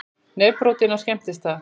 Nefbrotinn á skemmtistað